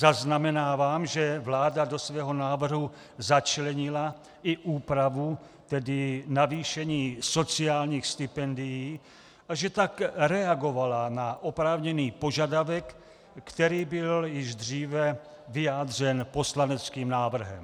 Zaznamenávám, že vláda do svého návrhu začlenila i úpravu - tedy navýšení - sociálních stipendií a že tak reagovala na oprávněný požadavek, který byl již dříve vyjádřen poslaneckým návrhem.